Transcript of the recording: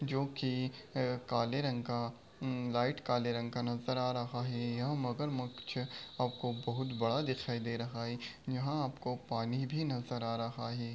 जो कि अ काले रंग का अ लाइट काले रंग का नज़र आ रहा है। ये मगरमच्छ आपको बहुत बड़ा दिखाई दे रहा है। यहाँ आपको पानी भी नज़र आ रहा है।